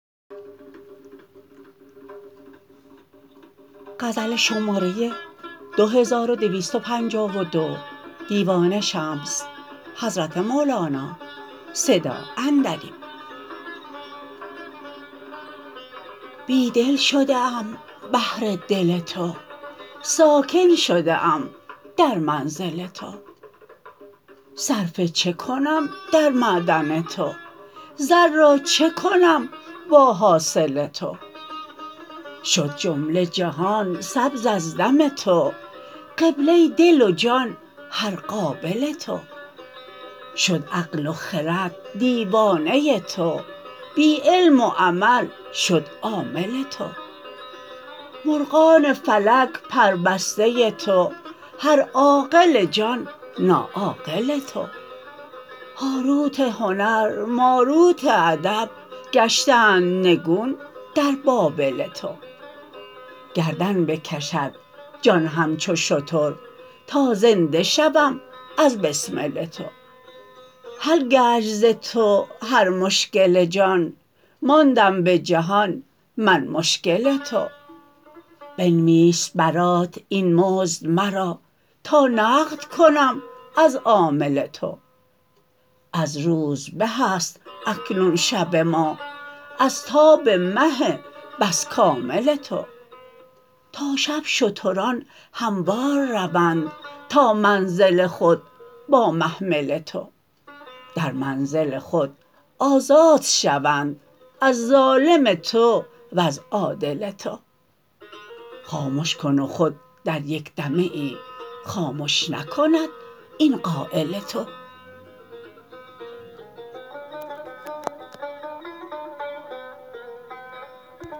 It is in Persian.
بی دل شده ام بهر دل تو ساکن شده ام در منزل تو صرفه چه کنم در معدن تو زر را چه کنم با حاصل تو شد جمله جهان سبز از دم تو قبله دل و جان هر قابل تو شد عقل و خرد دیوانه تو بی علم و عمل شد عامل تو مرغان فلک پربسته تو هر عاقل جان ناعاقل تو هاروت هنر ماروت ادب گشتند نگون در بابل تو گردن بکشد جان همچو شتر تا زنده شوم از بسمل تو حل گشت ز تو هر مشکل جان ماندم به جهان من مشکل تو بنویس برات این مزد مرا تا نقد کنم از عامل تو از روز به است اکنون شب ما از تاب مه بس کامل تو تا شب شتران هموار روند تا منزل خود با محمل تو در منزل خود آزاد شوند از ظالم تو وز عادل تو خامش کن و خود در یک دمه ای خامش نکند این قایل تو